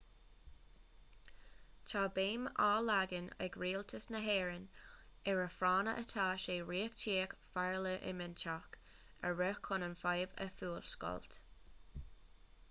tá béim á leagan ag rialtas na héireann ar a phráinne atá sé reachtaíocht pharlaiminteach a rith chun an fhadhb a fhuascailt